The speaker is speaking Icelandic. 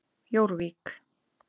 Jórvík